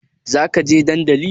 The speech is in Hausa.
Zaka je dandali